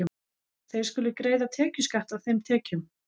Þeir skulu greiða tekjuskatt af þeim tekjum.